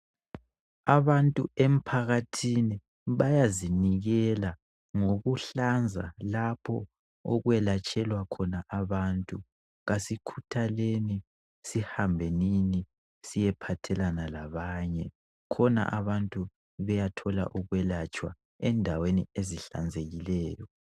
Abantu emphakathini bayazinikela ngokuhlanza lapho okwelatshelwa khona abantu. Asikhuthaleni sihambenini siyephathelana labanye khona abantu beyathola ukwelatshwa endaweni ezihlanzekileyo.